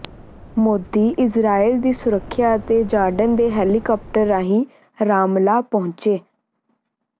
Modi Israel ਦੀ ਸੁਰੱਖਿਆ ਅਤੇ ਜਾਰਡਨ ਦੇ ਹੈਲੀਕਾਪਟਰ ਰਾਹੀ ਰਾਮੱਲ੍ਹਾ ਪਹੁੰਚੇ